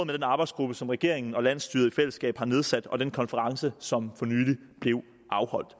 den arbejdsgruppe som regeringen og landsstyret i fællesskab har nedsat og den konference som blev afholdt